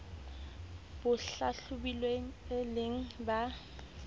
ba hlahlobilweng e le ba